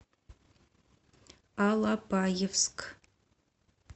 алапаевск